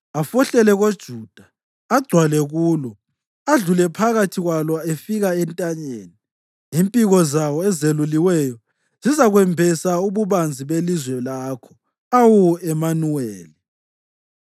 afohlele koJuda, agcwale kulo, adlule phakathi kwalo efika entanyeni. Impiko zawo ezeluliweyo zizakwembesa ububanzi belizwe lakho, Awu, Emanuweli!”